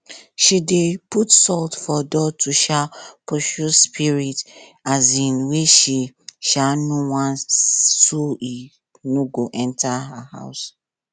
she dey put salt for door to um pursue spirit um wey she um no want so e no go enter her house